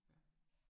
Ja